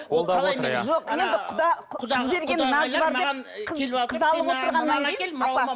қолдап отыр иә